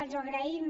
els ho agraïm